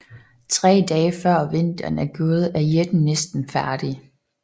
Tre dage før vinteren er gået er jætten næsten færdig